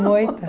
moita